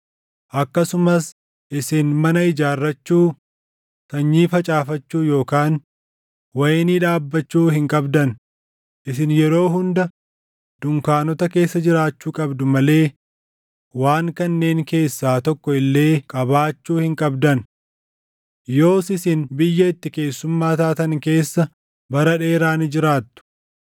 Akkasumas isin mana ijaarrachuu, sanyii facaafachuu yookaan wayinii dhaabbachuu hin qabdan; isin yeroo hunda dunkaanota keessa jiraachuu qabdu malee waan kanneen keessaa tokko illee qabaachuu hin qabdan. Yoos isin biyya itti keessummaa taatan keessa bara dheeraa ni jiraattu.’